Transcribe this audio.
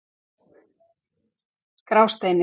Grásteini